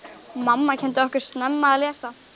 Mamma kenndi okkur snemma að lesa.